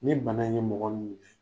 Nin bana in bɛ mɔgɔ min minɛ